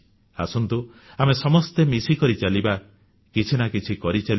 ଆସନ୍ତୁ ଆମେ ସମସ୍ତେ ମିଶିକରି ଚାଲିବା କିଛି ନା କିଛି କରି ଚାଲିବା